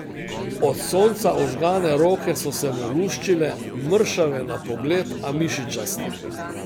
Od sonca ožgane roke so se mu luščile, mršave na pogled, a mišičaste.